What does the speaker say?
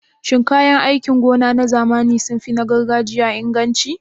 Shin kayan aikin gona na zamani sun fi na gargajiya inganci?